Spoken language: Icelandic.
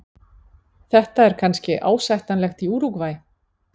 Þetta er kannski ásættanlegt í Úrúgvæ.